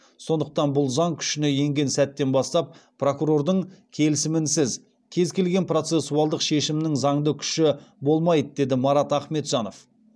сондықтан бұл заң күшіне енген сәттен бастап прокурордың келісімінсіз кез келген процессуалдық шешімнің заңды күші болмайды деді марат ахметжанов